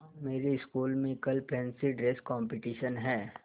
माँ मेरी स्कूल में कल फैंसी ड्रेस कॉम्पिटिशन है